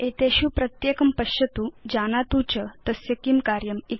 एतेषु प्रत्येकं पश्यतु जानातु च तस्य किं कार्यम् इति